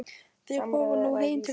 Þeir fóru nú heim til Jóa.